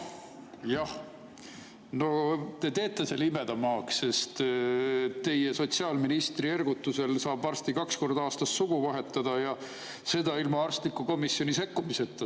Jah, te teete selle imedemaaks, sest teie sotsiaalkaitseministri ergutusel saab varsti kaks korda aastas sugu vahetada ja seda ilma arstliku komisjoni sekkumiseta.